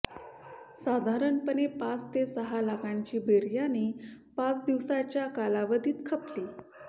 साधारणपणे पाच ते सहा लाखांची बिर्याणी पाच दिवसांच्या कालावधीत खपली